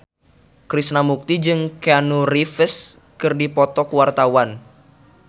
Krishna Mukti jeung Keanu Reeves keur dipoto ku wartawan